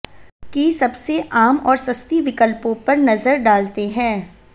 की सबसे आम और सस्ती विकल्पों पर नजर डालते हैं